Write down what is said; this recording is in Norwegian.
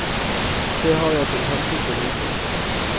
Det har jeg til hensikt å nyte.